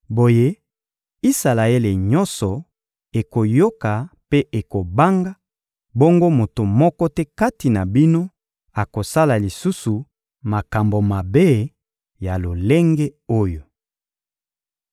Boye, Isalaele nyonso ekoyoka mpe ekobanga, bongo moto moko te kati na bino akosala lisusu makambo mabe ya lolenge oyo.